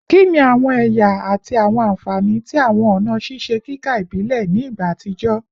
Kini awọn ẹya ati awọn anfani ti awọn ọna ṣiṣe kika ibile ni igba atijọ?